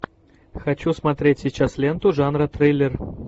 хочу смотреть сейчас ленту жанра триллер